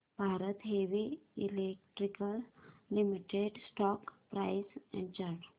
Bharat heavy electricals limited stock price and chart